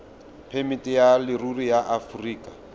phemiti ya leruri ya aforika